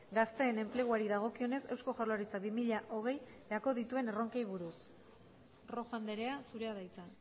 gazteen enpleguari dagokionez eusko jaurlaritzak bi mila hogeirako dituen erronkei buruz rojo andrea zurea da hitza